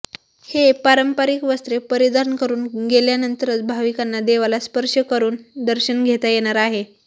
हे पारंपरिक वस्त्रे परिधान करून गेल्यानंतरच भाविकांना देवाला स्पर्श करून दर्शन घेता येणार आहे